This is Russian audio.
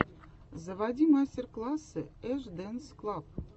заводи мастер классы эш дэнс клаб